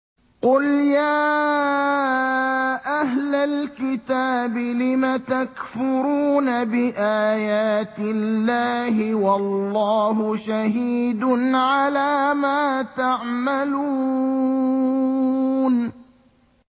قُلْ يَا أَهْلَ الْكِتَابِ لِمَ تَكْفُرُونَ بِآيَاتِ اللَّهِ وَاللَّهُ شَهِيدٌ عَلَىٰ مَا تَعْمَلُونَ